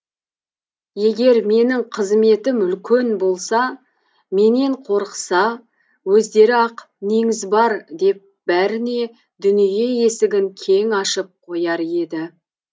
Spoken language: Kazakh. егер менің қызметім үлкен болса менен қорықса өздері ақ неңіз бар деп бәріне дүние есігін кең ашып қояр еді